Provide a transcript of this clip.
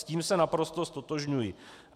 S tím se naprosto ztotožňuji.